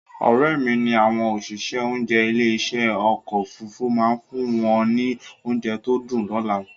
Òrẹ́mi ní àwọn òṣìṣẹ́ oúnjẹ ilé ìṣe ọkọ̀ Òfurufú máa fún wọn ní oúnjẹ tó dùn lọ́la